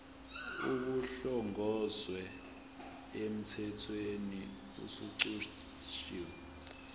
kuhlongozwe emthethweni osuchithiwe